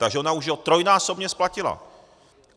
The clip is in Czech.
Takže ona už ho trojnásobně splatila!